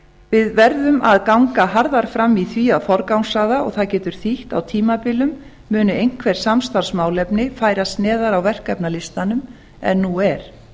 við verðum að ganga harðar fram í því að forgangsraða og það getur þýtt að á tímabilum muni einhver samstarfsmálefni færast neðar á verkefnalistanum en nú er